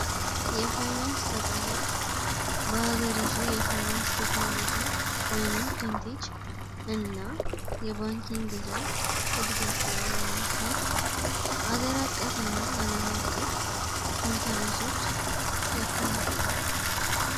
የፋይናንስ ተቋማት በሀገሪቱ የፋይናንስ ቴክኖሎጂ ወይንም ፊንቴች እና የባንኪንግ ዘርፍ ዕድገት ላይ ለመምከር ሀገር አቀፍ እና አለም አቀፍ ኮንፈሬንሶች ያካሂዳሉ።